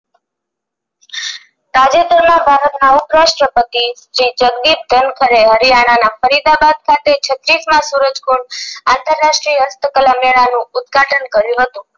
તાજેતર માં ભારત ના ઉપરાસ્ટ્ર પતિ શ્રી જગદીશ ધનકરે હરિયાણાના ફરીદાબાદ ખાતે છત્રીસ માં સૂરજ ખોર આંત્રરાષ્ટીય હસ્તકળા